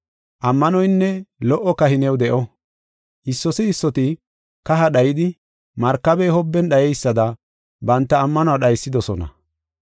Ammanoynne lo77o kahi new de7o. Issoti issoti kaha dhayidi markabey hobben dhayeysada banta ammanuwa dhaysidosona.